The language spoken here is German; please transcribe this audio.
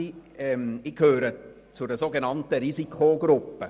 Ich gehöre zu einer sogenannten Risikogruppe.